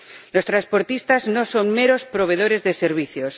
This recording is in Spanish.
Los transportistas no son meros proveedores de servicios